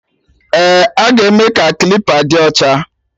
Eh, aga eme ka klipa dị ocha